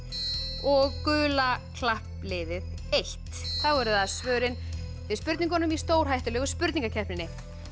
og gula klappliðið fyrstu þá eru það svörin við spurningunum í stórhættulegu spurningakeppninni